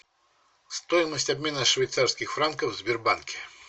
стоимость обмена швейцарских франков в сбербанке